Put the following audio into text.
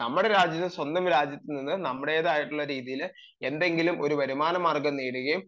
നമ്മുടെ രാജ്യത്തു സ്വന്തം രാജ്യത്തു എന്തെങ്കിലും ഒരു സ്വന്തം വരുമാനം നേടുകയും